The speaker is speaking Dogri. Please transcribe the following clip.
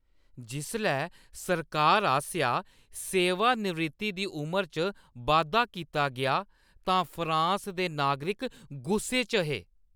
जिसलै सरकार आसेआ सेवानिवृत्ति दी उमरी च बाद्धा कीता गेआ तां फ्रांस दे नागरिक गुस्से च हे